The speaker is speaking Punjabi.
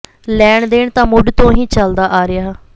ਲੈਣ ਦੇਣ ਤਾਂ ਮੁੱਢ ਤੋਂ ਹੀ ਚਲਦਾ ਆ ਰਿਹਾ